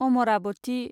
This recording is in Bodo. अमरावती